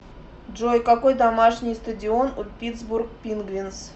джой какой домашний стадион у питтсбург пингвинз